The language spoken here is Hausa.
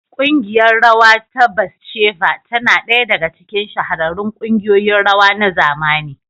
ƙungiyar rawa ta Batsheva tana ɗaya daga cikin shahararrun kungiyoyin rawa na zamani.